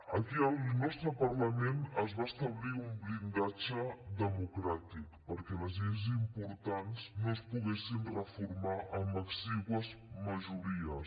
aquí al nostre parlament es va establir un blindatge democràtic perquè les lleis importants no es poguessin reformar amb exigües majories